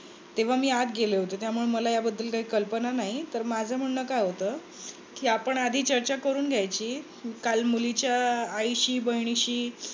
तेव्हा मी आता गेले होते. त्यामुळे मला याबद्दल काही कल्पना नाही. तर माझ म्हणणे काय होत? कि आपण आधी चर्चा करून घ्यायची. काल मुलीच्या आईशी बहिणीशी